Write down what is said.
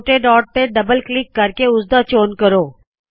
ਛੋਟੇ ਢਾੱਟ ਤੇ double click ਕਰਕੇ ਉਸਦਾ ਚੋਣ ਕਰੋ